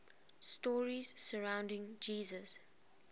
stories surrounding jesus